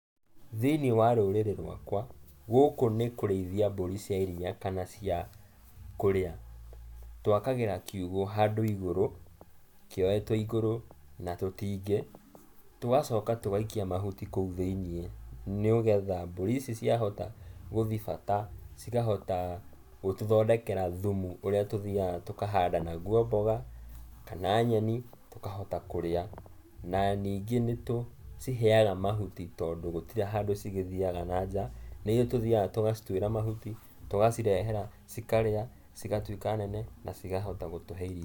Thĩiniĩ wa rũrĩrĩ rũakũa, gũkũ nĩ kũrĩithia mburi cia iria kana cia kũrĩa, tũakagĩra kiugũ handũ igũrũ, kĩoetũo igũrũ, na tũtingĩ, tũgacoka tũgaikia mahuti kũu thĩiniĩ, nĩgetha mbũri ici ciahota, gũthiĩ bata, cikahota gũtũthondekera thumu, ũrĩa tũthiaga tũkahanda naguo mboga, kana nyeni, tũkahota kũrĩa. Na ningĩ nĩtũkĩciheaga mahuti tondũ gũtiri handũ cigĩthiaga na nja nĩithuĩ tũthiaga tũgacitũĩra mahuti, tũgacirehera, cikarĩa, cigatuĩka nene, na cikahota gũtũhe iria.